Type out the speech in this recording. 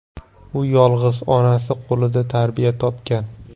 U yolg‘iz onasi qo‘lida tarbiya topgan.